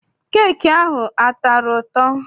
Keeki ahụ a tọrọ ụtọ?